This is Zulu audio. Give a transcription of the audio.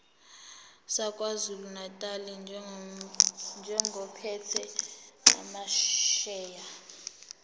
sakwazulunatali njengophethe amasheya